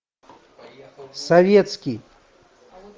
советский